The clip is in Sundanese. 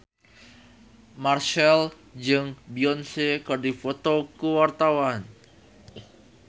Marchell jeung Beyonce keur dipoto ku wartawan